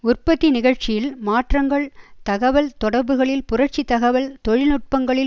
உற்பத்தி நிகழ்ச்சியில் மாற்றங்கள் தகவல் தொடர்புகளில் புரட்சி தகவல் தொழில்நுட்பங்களில்